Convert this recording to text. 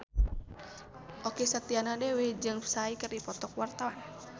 Okky Setiana Dewi jeung Psy keur dipoto ku wartawan